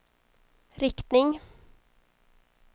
riktning